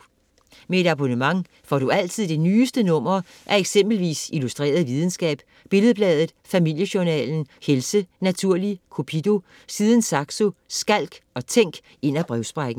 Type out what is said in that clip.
Med et abonnement får du altid det nyeste nummer af eksempelvis Illustreret Videnskab, Billed-Bladet, Familiejournalen, Helse, Naturli, Cupido, Siden Saxo, Skalk og Tænk ind af brevsprækken.